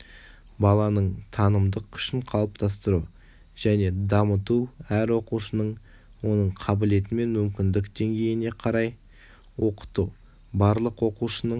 баланың танымдық күшін қалыптастыру және дамыту әр оқушының оның қабілетімен мүмкіндік деңгейіне қарай оқыту барлық оқушының